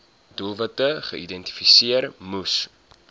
doelwitte geïdentifiseer moes